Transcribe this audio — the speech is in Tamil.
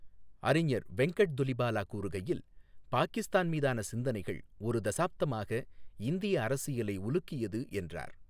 அறிஞர் வெங்கட் துலிபாலா கூறுகையில், பாகிஸ்தான் மீதான சிந்தனைகள் ஒரு தசாப்தமாக இந்திய அரசியலை உலுக்கியது என்றார்.